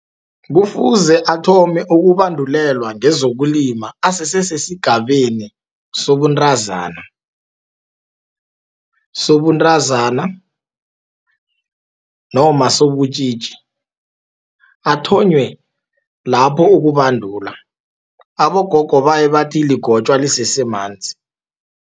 Kufuze athome ukubandulelwa ngezokulima asese sesigabeni sobuntazana, noma sobutjitji, athonywe lapho ukubandulwa. Abogogo baye bathi ligotjwa lisesemanzi.